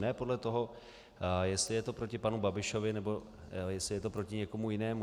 Ne podle toho, jestli je to proti panu Babišovi nebo jestli je to proti někomu jinému.